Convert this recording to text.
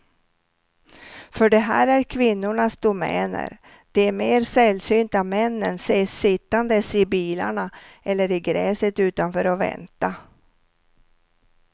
För det här är kvinnornas domäner, de mer sällsynta männen ses sittandes i bilarna eller i gräset utanför och vänta.